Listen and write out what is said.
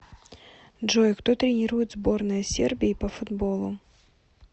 джой кто тренирует сборная сербии по футболу